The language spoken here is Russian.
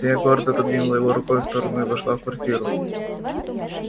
я гордо отодвинула его рукой в сторону и вошла в квартиру